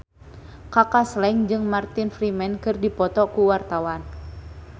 Kaka Slank jeung Martin Freeman keur dipoto ku wartawan